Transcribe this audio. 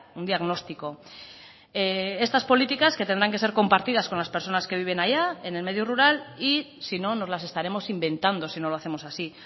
un diagnóstico estas políticas que tendrán que ser compartidas con las personas que viven allá en el medio rural y si no nos las estaremos inventando si no lo hacemos así